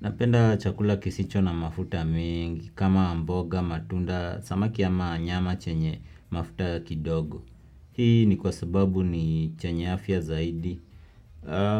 Napenda chakula kisicho na mafuta mengi kama mboga, matunda, samaki ama nyama chenye mafuta kidogo. Hii ni kwa sababu ni chenye afya zaidi.